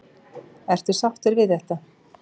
Ertu sáttur við þetta?